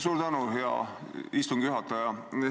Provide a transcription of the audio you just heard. Suur tänu, hea istungi juhataja!